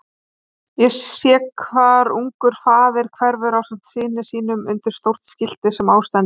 Ég sé hvar ungur faðir hverfur ásamt syni sínum undir stórt skilti sem á stendur